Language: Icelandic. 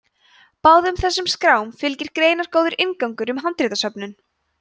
báðum þessum skrám fylgir greinargóður inngangur um handritasöfnin